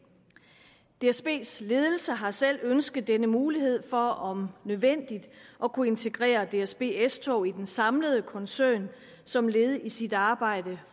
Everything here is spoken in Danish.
dsbs ledelse har selv ønsket denne mulighed for om nødvendigt at kunne integrere dsb s tog i den samlede koncern som led i sit arbejde